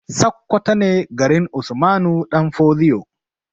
Sakkwato ne garin usmanu ɗan fodio